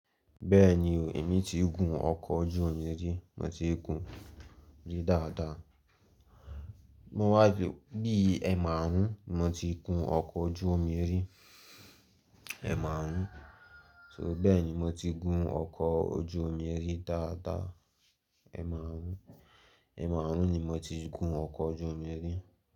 Bẹ́ẹ̀ni o, èmi ti gun ọkọ̀ ojú omi rí, mo ti gun rí dáadáa. Mo wà bí i ẹ márùn-ún, mo ti gun ọkọ̀ ojú omi rí ẹ márùn-ún, so bẹ́ẹ̀ni mo ti gun ọkọ̀ ojú omi rí dáadáa ẹ márùn-ún. Ẹ márùn-ún ni mo ti gun ọkọ̀ ojú omi rí.